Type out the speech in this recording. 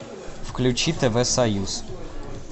включи тв союз